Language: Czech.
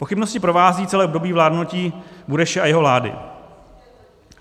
Pochybnosti provázejí celé období vládnutí Bureše a jeho vlády.